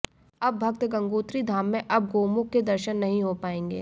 अब भक्त गंगोत्री धाम में अब गोमुख के दर्शन नहीं हो पाएंगे